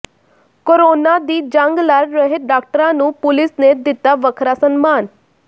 corona ਦੀ ਜੰਗ ਲੜ ਰਹੇ ਡਾਕਟਰਾਂ ਨੂੰ ਪੁਲਿਸ ਨੇ ਦਿੱਤਾ ਵੱਖਰਾ ਸਨਮਾਨ